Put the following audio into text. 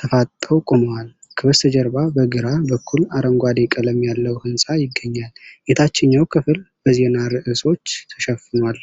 ተፋጠው ቆመዋል። ከበስተጀርባ በግራ በኩል አረንጓዴ ቀለም ያለው ሕንፃ ይገኛል። የታችኛው ክፍል በዜና ርዕሶች ተሸፍኗል።